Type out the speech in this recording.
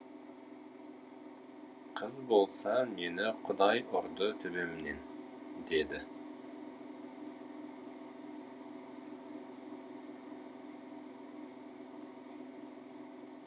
қыз болса мені құдай ұрды төбемнен деді